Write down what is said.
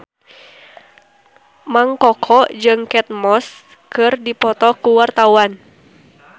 Mang Koko jeung Kate Moss keur dipoto ku wartawan